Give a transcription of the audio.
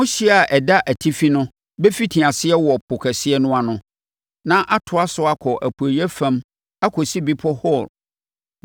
Mo hyeɛ a ɛda atifi no bɛfiti aseɛ wɔ Po Kɛseɛ no ano, na atoa so akɔ apueeɛ fam akɔsi bepɔ Hor,